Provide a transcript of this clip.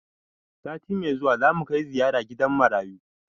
Sati mai zuwa za mu kai ziyara gidan marayu.